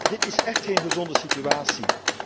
Dit is écht geen gezonde situatie.